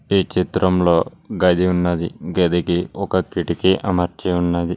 ఈ చిత్రంలో గది ఉన్నది గదికి ఒక కిటికీ అమర్చి ఉన్నది.